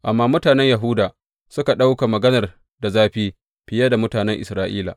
Amma mutanen Yahuda suka ɗauka maganar da zafi fiye da mutanen Isra’ila.